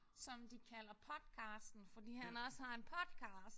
Som de kalder podcasten fordi han også har en podcast